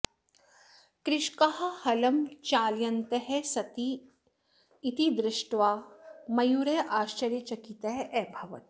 कृषकाः हलं चालयन्तः सन्ति इति दृष्ट्वा मयूरः आश्चर्यचकितः अभवत्